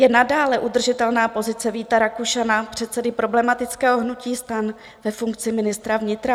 Je nadále udržitelná pozice Víta Rakušana, předsedy problematického hnutí STAN, ve funkci ministra vnitra?